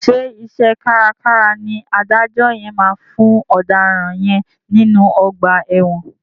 Ṣé iṣẹ́ kárakára ni adájọ́ yẹn máa fún ọ̀daràn yẹn nínú ọgbà ẹ̀wọ̀n.